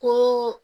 Ko